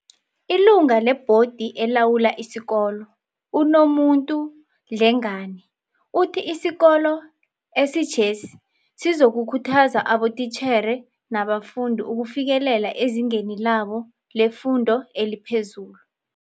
Ilunga lebhodi elawula isikolo, uNomuntu Dlengane, uthi isikolo esitjhesi sizokukhuthaza abotitjhere nabafundi ukufikelela ezingeni labo lefundo eliphezulu.